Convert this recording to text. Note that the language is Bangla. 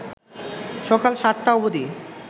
সকাল ৭টা অবধি